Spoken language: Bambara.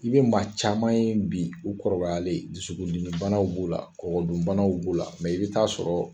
I bɛ maa caman ye bi u kɔrɔbayalen dusukundimibanaw b'u la, kɔkɔdunbanaw b'u la mɛ i bɛ taa sɔrɔ